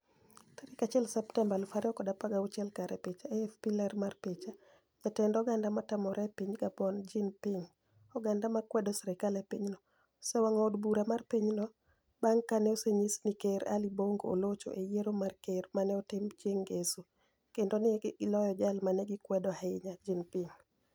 1 Septemba, 2016 (Kare) Picha, AFP Ler mar picha, jatend Oganida Matamore e Piniy Gaboni, Jeani Pinig Oganida ma kwedo sirkal e piny no, osewanig'o od bura mar piny no banig' ka ni e oseniyis nii Ker Ali Bonigo olocho e Yiero mar Ker ma ni e otim chienig' nigeso, kenido ni e giloyo jal ma ni e gikwedo ahiniya, Jeani pinig.